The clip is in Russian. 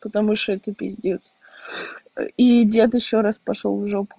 потому что это пиздец и дед ещё раз пошёл в жопу